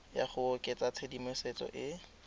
ya go oketsa tshedimosetso e